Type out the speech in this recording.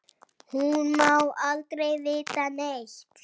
Hún má aldrei vita neitt.